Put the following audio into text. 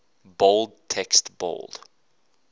bold text bold